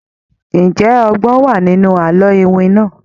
Ǹjẹ́ ọgbòn wà ní inú àlọ́ iwin náà?